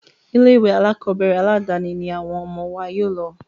Ilé ìwé alákọ̀berẹ̀ aládàni ní àwọn ọmọ wa yóò lọ.